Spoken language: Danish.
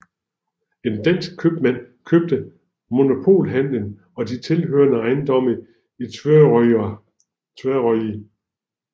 En dansk købmand købte monopolhandelen og de tilhørende ejendomme i Tvøroyri